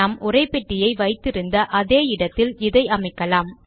நாம் உரைப்பெட்டியை வைத்து இருந்த அதே இடத்தில் இதை அமைக்கலாம்